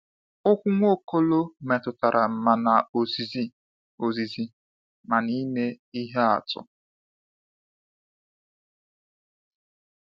Okwu Nwaokolo metụtara ma n’ozizi ozizi ma n’ime ihe atụ.